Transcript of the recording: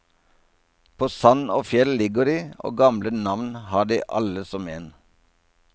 På sand og fjell ligger de, og gamle navn har de alle som en.